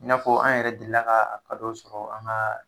I n'a fɔ an yɛrɛ delila ka a dɔw sɔrɔ an ga